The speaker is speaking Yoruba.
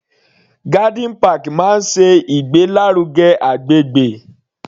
Garden park máa ṣe ìgbé lárugẹ agbègbè.